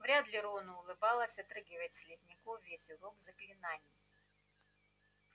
вряд ли рону улыбалось отрыгивать слизняков весь урок заклинаний